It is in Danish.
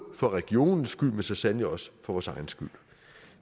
for regionens skyld men så sandelig også for vores egen skyld